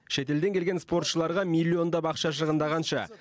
шетелден келген спортшыларға миллиондап ақша шығынданғанша